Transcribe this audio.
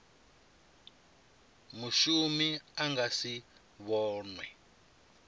mushumi a nga si vhonwe